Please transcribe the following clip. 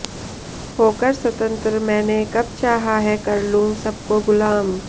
होकर स्वतंत्र मैंने कब चाहा है कर लूं सब को गुलाम